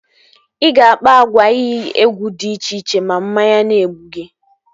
Ị ga-akpa agwa iyi egwu dị iche iche ma mmanya na-egbu gi